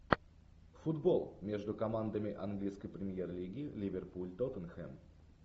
футбол между командами английской премьер лиги ливерпуль тоттенхэм